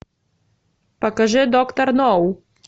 покажи доктор ноу